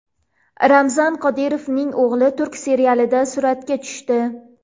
Ramzan Qodirovning o‘g‘li turk serialida suratga tushdi .